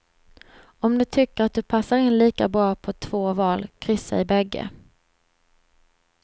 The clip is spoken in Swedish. Om du tycker att du passar in lika bra på två val, kryssa i bägge.